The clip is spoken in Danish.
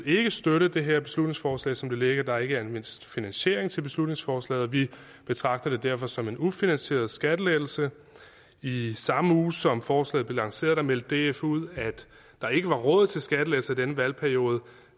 ikke støtte det her beslutningsforslag som det ligger der er ikke anvist finansiering til beslutningsforslaget og vi betragter det derfor som en ufinansieret skattelettelse i samme uge som forslaget blev lanceret meldte df ud at der ikke var råd til skattelettelser i denne valgperiode